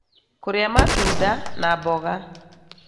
Kũrĩa matunda na mboga,